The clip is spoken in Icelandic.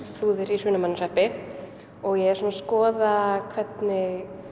Flúðir í Hrunamannahreppi og ég er svona að skoða hvernig